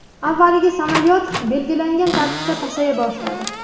Avvaliga samolyot belgilangan tartibda pasaya boshladi.